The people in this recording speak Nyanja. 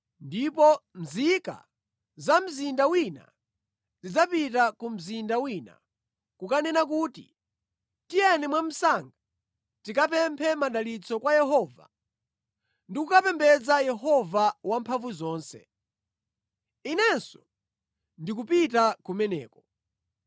ndipo nzika za mzinda wina zidzapita ku mzinda wina, kukanena kuti, ‘Tiyeni mwamsanga tikapemphe madalitso kwa Yehova ndi kukapembedza Yehova Wamphamvuzonse. Inenso ndikupita kumeneko.’